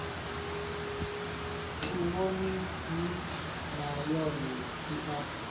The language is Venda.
tshivhonini nay one i a